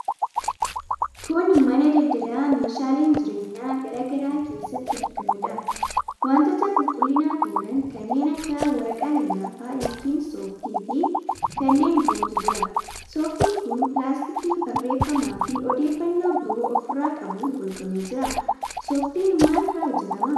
Kun mana daldalaa meeshaaleen jireenyaa garaa garaa keessatti argamuudha. Wantoota qulqullinaaf oolan kanneen akka waraqaa lallaafaa ('soft') fi kanneen birootu jira. 'Soft'n kun pilaastikii barreeffamaafi odeeffannoo biroo ofirraa qabuun golgamee jira. 'Soft'n maal irraa hojjetama?